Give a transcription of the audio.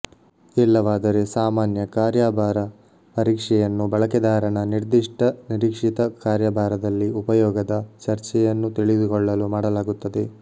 ಇಲ್ಲವಾದರೆ ಸಾಮಾನ್ಯ ಕಾರ್ಯಾಭಾರ ಪರೀಕ್ಷೆಯನ್ನು ಬಳಕೆದಾರನ ನಿರ್ದಿಷ್ಟ ನಿರೀಕ್ಷಿತ ಕಾರ್ಯಭಾರದಲ್ಲಿ ಉಪಯೋಗದ ಚರ್ಯೆಯನ್ನು ತಿಳಿದುಕೊಳ್ಳಲು ಮಾಡಲಾಗುತ್ತದೆ